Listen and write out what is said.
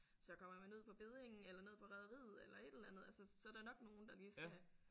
Så kommer man ud på beddingen eller ned på rederiet eller et eller andet altså så er der nok nogen der lige skal